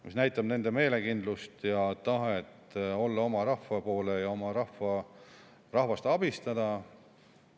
See näitab nende meelekindlust, tahet olla oma rahva poole ja oma rahvast abistada.